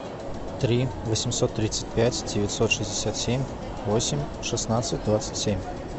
три восемьсот тридцать пять девятьсот шестьдесят семь восемь шестнадцать двадцать семь